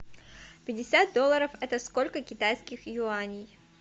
пятьдесят долларов это сколько китайских юаней